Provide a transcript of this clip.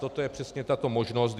Toto je přesně tato možnost.